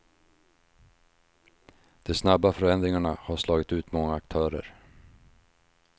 De snabba förändringarna har slagit ut många aktörer.